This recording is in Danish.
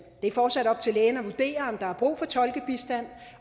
det er fortsat op til lægen at vurdere om der er brug for tolkebistand